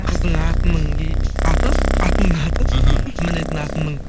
қыздың атының аты атының аты іхі мінетін атының